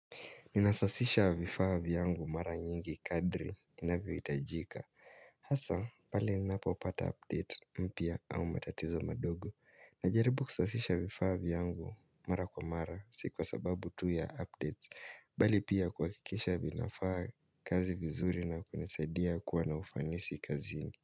Ninasasisha vifaa vyangu mara nyingi kadri inavyohitajika Hasa pale ninapo pata update mpya au matatizo madogo. Najaribu kusasisha vifaa vyangu mara kwa mara si kwa sababu tu ya updates Bali pia kuhakikisha vinafaa kazi vizuri na kunisaidia kuwa na ufanisi kazini.